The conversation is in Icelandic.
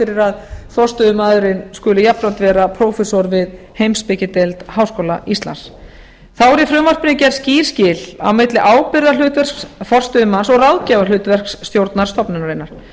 fyrir að forstöðumaðurinn skuli jafnframt vera prófessor við heimspekideild háskóla íslands þá eru í frumvarpinu gerð skýr skil milli ábyrgðarhlutverks forstöðumanns og ráðgjafarhlutverks stjórnar stofnunarinnar